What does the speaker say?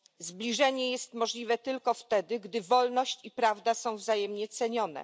Zbliżenie jest możliwe tylko wtedy, gdy wolność i prawda są wzajemnie cenione.